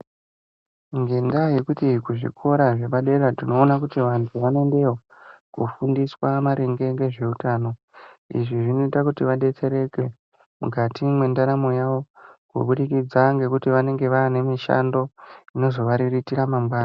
Ngendaa yekuti kuzvikora zvepadera tinoona kuti vantu vanoendeyo koofundiswa maringe ngezveutano. Izvi zvinoita kuti vadetsereke mukati mwendaramo yavo, kubudikidza ngekuti vanenge vaanemishando inozovariritira mangwanani.